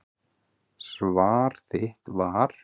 Svar þitt var.